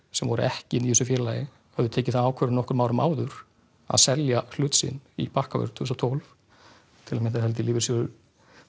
sem voru ekki inn í þessu félagi höfðu tekið þá ákvörðun nokkrum árum áður að selja hlut sinn í Bakkavör tvö þúsund og tólf til að mynda l s r Lífeyrissjóður